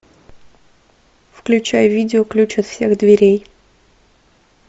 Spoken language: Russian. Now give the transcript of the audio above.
включай видео ключ от всех дверей